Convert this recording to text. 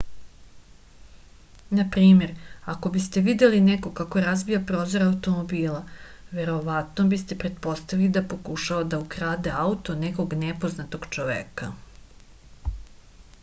na primer ako biste videli nekoga kako razbija prozor automobila verovatno biste pretpostavili da pokušava da ukrade auto nekog nepoznatog čoveka